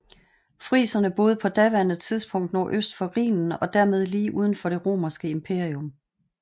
Friserne boede på daværende tidspunkt nordøst for Rhinen og dermed lige uden for det romerske imperium